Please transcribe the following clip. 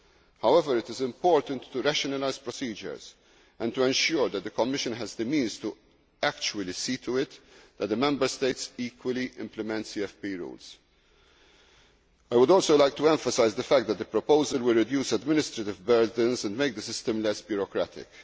However, it is important to rationalise procedures, and to ensure that the Commission has the means to actually see to it that the Member States equally implement CFP rules. I would also like to emphasise the fact that the proposal will reduce administrative burdens and make the system less bureaucratic.